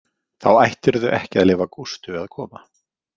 Þá ættirðu ekki að leyfa Gústu að koma.